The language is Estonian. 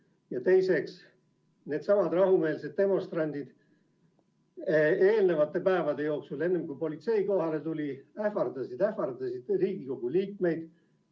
Ja teiseks: needsamad rahumeelsed demonstrandid eelmistel päevadel, enne kui politsei kohale tuli, ähvardasid Riigikogu liikmeid.